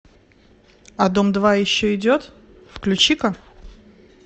а дом два еще идет включи ка